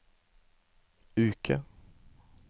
uke